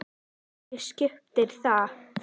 Hverju skiptir það?